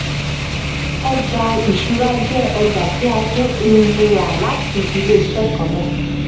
ọjà ìṣúra jẹ́ ọjà tí a tún um rà látinú ilé-iṣẹ́ kan náà.